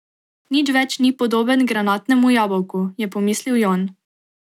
Nič več ni podoben granatnemu jabolku, je pomislil Jon.